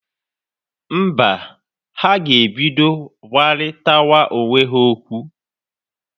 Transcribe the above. Mba, ha ga-ebido gwarịtawa onwe ha okwu.